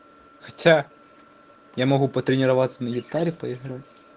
хотя я могу потренироваться на гитаре поиграть